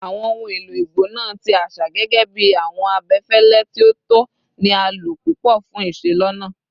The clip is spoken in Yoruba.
Awọn ohun elo igbona ti aṣa, gẹgẹbi awọn abẹfẹlẹ ti o tọ, ni a lo pupọ fun iselona